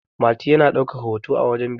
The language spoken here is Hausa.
mati yana daukar hoto a wajen biki